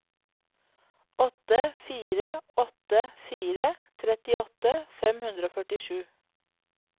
åtte fire åtte fire trettiåtte fem hundre og førtisju